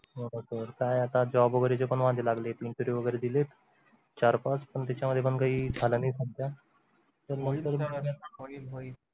होना सर काय आता job वगैरेचे पण वांदे लागलेत interview वगैरे दिलेत चार पाच पण त्याच्यामध्ये पण काही झालं नाही सध्या तर मग